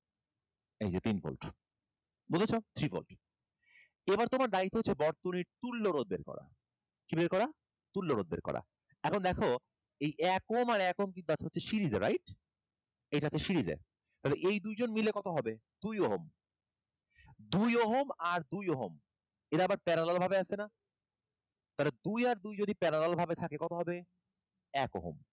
তাহলে এই দুইজন মিলে কত হবে দুই ওহম দুই ওহম আর দুই ওহম এরা আবার parallel ভাবে আছে না তাহলে দুই আর দুই যদি parallel ভাবে থাকে তাহলে কত হবে এক ওহম